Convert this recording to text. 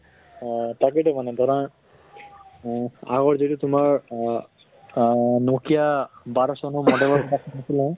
আহ তাকে টো মানে ধৰা আহ আগত যিটো তোমাৰ আহ আহ nokia বাৰʼ চনৰ model ৰ থাকিলে